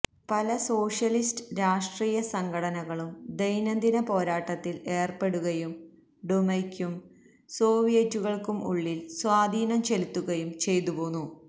പല സോഷ്യലിസ്റ്റ് രാഷ്ട്രീയ സംഘടനകളും ദൈനംദിന പോരാട്ടത്തിൽ ഏർപ്പെടുകയും ഡുമയ്ക്കും സോവിയറ്റുകൾക്കും ഉള്ളിൽ സ്വാധീനം ചെലുത്തുകയും ചെയ്തുപോന്നു